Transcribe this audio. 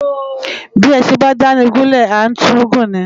Bi Esin ba dáni gúlè ã tun gun ni